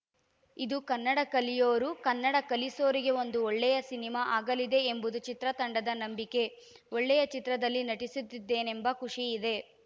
ಇದು ಕನ್ನಡ ಕಲಿಯೋರು ಕನ್ನಡ ಕಲಿಸೋರಿಗೆ ಒಂದು ಒಳ್ಳೆಯ ಸಿನಿಮಾ ಆಗಲಿದೆ ಎಂಬುದು ಚಿತ್ರತಂಡದ ನಂಬಿಕೆ ಒಳ್ಳೆಯ ಚಿತ್ರದಲ್ಲಿ ನಟಿಸುತ್ತಿದ್ದೇನೆಂಬ ಖುಷಿ ಇದೆ